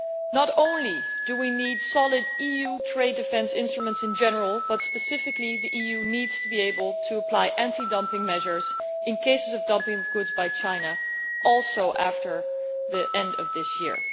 Not only do we need solid EU trade defence instruments in general, but specifically the EU needs to be able to apply anti dumping measures in cases of dumping of goods by China beyond the end of this year.